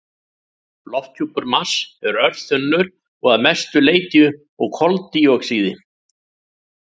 Lofthjúpur Mars er örþunnur og að mestu leyti úr koldíoxíði.